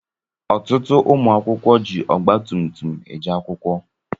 Ọtụtụ ụmụ akwụkwọ jị Ọgba tum tum eje akwụkwọ.